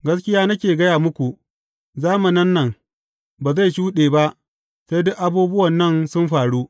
Gaskiya nake gaya muku, zamanin nan ba zai shuɗe ba sai duk abubuwan nan sun faru.